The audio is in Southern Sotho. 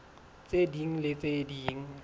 tse ding le tse ding